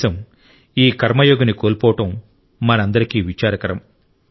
దేశం ఈ కర్మ యోగిని కోల్పోవడం మనందరికీ విచారకరం